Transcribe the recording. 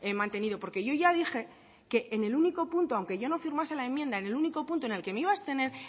mantenido porque yo ya dije que aunque yo no firmase la enmienda en el único punto en el que me iba abstener